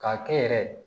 K'a kɛ yɛrɛ